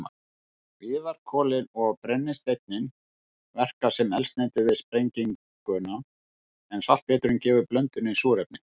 Viðarkolin og brennisteinninn verka sem eldsneyti við sprenginguna en saltpéturinn gefur blöndunni súrefni.